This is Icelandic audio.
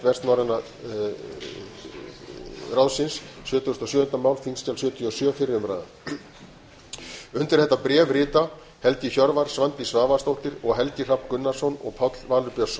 sjötugasta og sjöunda mál þingskjal sjötugasta og sjöunda fyrri umræða undir þetta skrifa háttvirtir þingmenn helgi hjörvar svandís svavarsdóttir helgi hrafn gunnarsson og páll valur björnsson